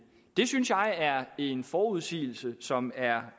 det synes jeg er en forudsigelse som er